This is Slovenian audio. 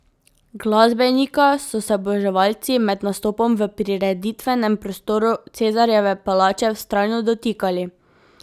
Glasbenika so se oboževalci med nastopom v prireditvenem prostoru Cezarjeve palače vztrajno dotikali.